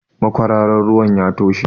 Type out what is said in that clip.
Makwararan ruwan ya toshe.